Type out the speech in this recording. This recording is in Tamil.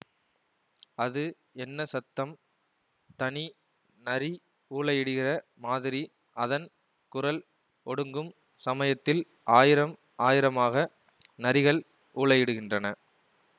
அது என்ன சத்தம் தனி நரி ஊளையிடுகிற மாதிரி அதன் குரல் ஒடுங்கும் சமயத்தில் ஆயிரம் ஆயிரமாக நரிகள் ஊளையிடுகின்றன